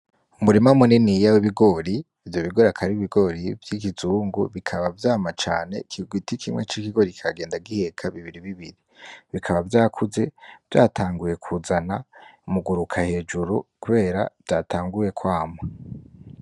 Umurima Muniniya W'Ibigori, Ivyo Bigori Akaba Ar'Ibigori Vy'Ikizungu Bikaba Vyama Cane Kigwiti Kimwe C'Ikigori Kikagenda Giheka Bibiri Bibiri Bikaba Vyakuze, Vyatanguye Kuzana Muguruka Hejuru Kubera Vyatanguye Kwama.